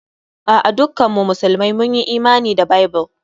A'a, dukkan mu musulmai mun Imani da Bible.